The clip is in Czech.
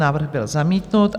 Návrh byl zamítnut.